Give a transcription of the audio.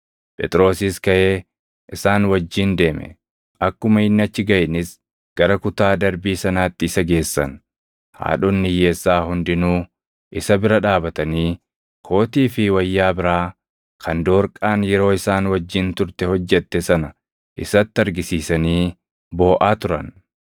Phexrosis kaʼee isaan wajjin deeme; akkuma inni achi gaʼeenis gara kutaa darbii sanaatti isa geessan. Haadhonni hiyyeessaa hundinuu isa bira dhaabatanii kootii fi wayyaa biraa kan Doorqaan yeroo isaan wajjin turte hojjette sana isatti argisiisanii booʼaa turan.